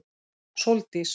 Sóldís